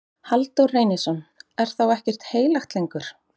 Halldór Reynisson: Er þá ekkert heilagt lengur?